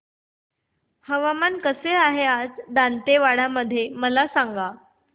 हवामान कसे आहे आज दांतेवाडा मध्ये मला सांगा